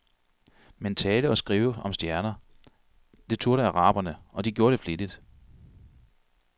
Men tale og skrive om stjerner, det turde araberne, og de gjorde det flittigt.